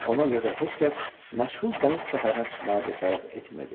Ona görə də heç kəs məchul dəniz səfərinə çıxmağa cəsarət etmirdi.